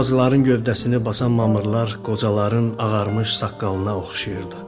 Ağacların gövdəsini basan mamırlar qocaların ağarmış saqqalına oxşayırdı.